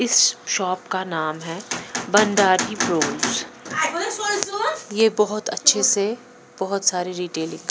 इस शॉप का नाम है भंडारी ब्रोस यह बहुत अच्छे से बहुत सारी रिटेलिक --